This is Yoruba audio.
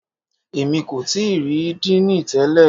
Èmi kò tíì rí Díìnì tẹlẹ̀.